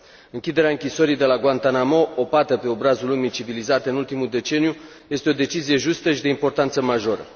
Închiderea închisorii de la Guantanamo, o pată pe obrazul lumii civilizate în ultimul deceniu, este o decizie justă și de importanță majoră.